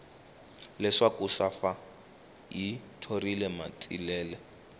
leswaku safa yi thorile matsilele